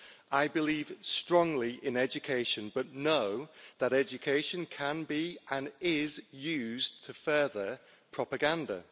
I believe strongly in education, but know that education can be and is used to further propaganda.